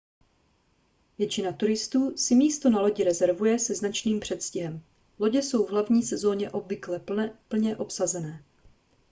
většina turistů si místo na lodi rezervuje se značným předstihem lodě jsou v hlavní sezóně obvykle plně obsazené